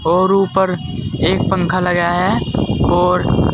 और ऊपर एक पंखा लगा है और--